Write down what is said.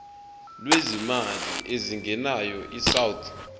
lwezimali ezingenayo isouth